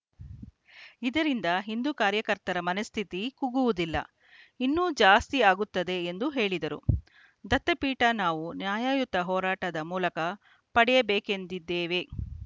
ಇದರಿಂದ ಹಿಂದೂ ಕಾರ್ಯಕರ್ತರ ಮನಸ್ಥಿತಿ ಕುಗ್ಗುವುದಿಲ್ಲ ಇನ್ನೂ ಜಾಸ್ತಿ ಆಗುತ್ತದೆ ಎಂದು ಹೇಳಿದರು ದತ್ತಪೀಠ ನಾವು ನ್ಯಾಯಯುತ ಹೋರಾಟದ ಮೂಲಕ ಪಡೆಯಬೇಕೆಂದಿದ್ದೇವೆ